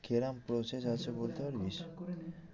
কেরম process আছে বলতে পারবি?